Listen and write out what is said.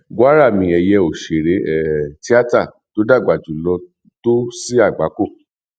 gwár àmì ẹyẹ òṣèré um tíátà tó dàgbà jùlọ tó sí àgbákò um